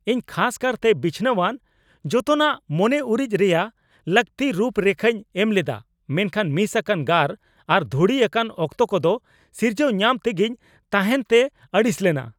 ᱤᱧ ᱠᱷᱟᱥ ᱠᱟᱨᱛᱮ ᱵᱤᱪᱷᱱᱟᱹᱣᱟᱱ ᱡᱚᱛᱚᱱᱟᱜ ᱢᱚᱱᱮ ᱩᱨᱤᱡ ᱨᱮᱭᱟᱜ ᱞᱟᱹᱠᱛᱤ ᱨᱩᱯ ᱨᱮᱠᱷᱟᱧ ᱮᱢ ᱞᱮᱫᱟ ᱢᱮᱱᱠᱷᱟᱱ ᱢᱤᱥ ᱟᱠᱟᱱ ᱜᱟᱨ ᱟᱨ ᱫᱷᱩᱲᱤ ᱟᱠᱟᱱ ᱚᱠᱛᱚ ᱠᱚᱫᱚ ᱥᱤᱨᱡᱟᱹᱣ ᱧᱟᱢ ᱛᱮᱜᱮᱧ ᱛᱟᱦᱮᱱ ᱛᱮ ᱟᱹᱲᱤᱥ ᱞᱮᱱᱟ ᱾